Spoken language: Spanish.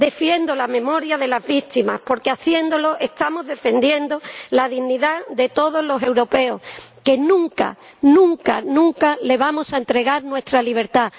Defiendo la memoria de las víctimas, porque haciéndolo, estamos defendiendo la dignidad de todos los europeos, que nunca, nunca, nunca, les vamos a entregar nuestra libertad.